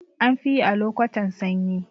Anfiyi a lokotan sanyi